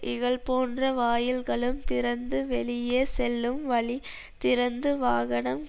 இகழ்போன்ற வாயில்களும் திறந்து வெளியே செல்லும் வழி திறந்து வாகனம்